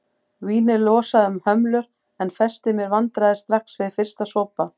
Vínið losaði um hömlur en festi mér vandræði strax við fyrsta sopa.